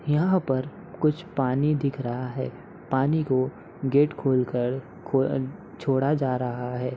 यहाँ पर कुछ पानी दिख रहा है पानी को गेट खोलकर छोड़ा जा रहा हे ।